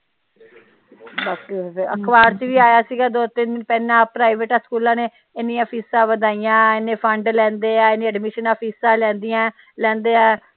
ਅਖਬਾਰ ਚ ਵੀ ਆਇਆ ਸੀ ਗਾ ਦੋ ਤਿੰਨ ਦਿਨ ਪਹਿਲਾ ਪ੍ਰਾਈਵੇਟਾ ਸਕੂਲਾ ਨੇ ਏਨੀਆਂ ਫੀਸਾਂ ਵਧਾਈਆ ਏਨੇ ਫੰਡ ਲੈਂਦੇ ਆ ਏਨੀਆਂ ਏਡਮਿਸ਼ਨਾ ਫੀਸਾਂ ਲੈਦੀਆਂ ਲੈਂਦੇ ਆ।